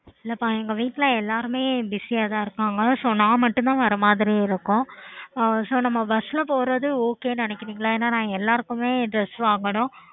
okay